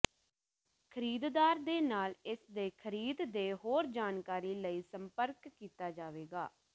ਖਰੀਦਦਾਰ ਦੇ ਨਾਲ ਇਸ ਦੇ ਖਰੀਦ ਦੇ ਹੋਰ ਜਾਣਕਾਰੀ ਲਈ ਸੰਪਰਕ ਕੀਤਾ ਜਾਵੇਗਾ